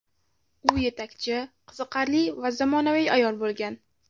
U yetakchi, qiziqarli va zamonaviy ayol bo‘lgan.